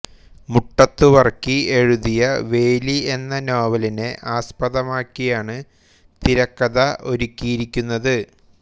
മുട്ടത്തു വർക്കി എഴുതിയ വേലി എന്ന നോവലിനെ ആസ്പദമാക്കിയാണ് തിരക്കഥ ഒരുക്കിയിരിക്കുന്നത്